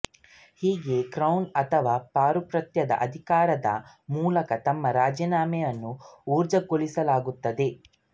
ಹೀಗೆ ಕ್ರೌನ್ ಅಥವಾ ಪಾರುಪತ್ಯದ ಅಧಿಕಾರದ ಮೂಲಕ ತಮ್ಮ ರಾಜಿನಾಮೆಯನ್ನು ಊರ್ಜಿತಗೊಳಿಸಲಾಗುತ್ತದೆ